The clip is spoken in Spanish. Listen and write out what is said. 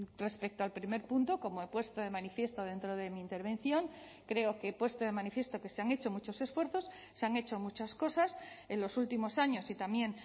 respecto al primer punto como he puesto de manifiesto dentro de mi intervención creo que puesto de manifiesto que se han hecho muchos esfuerzos se han hecho muchas cosas en los últimos años y también